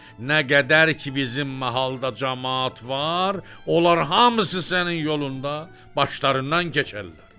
Nə qədər ki, bizim mahalda camaat var, onlar hamısı sənin yolunda başlarından keçərlər.